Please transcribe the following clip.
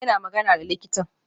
Yana magana da likitan